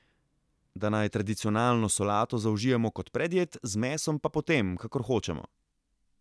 Da naj tradicionalno solato zaužijemo kot predjed, z mesom pa potem, kakor hočemo.